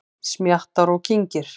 Smjattar og kyngir.